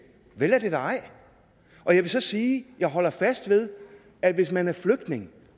vel er det da ej og jeg vil så sige at jeg holder fast ved at hvis man er flygtning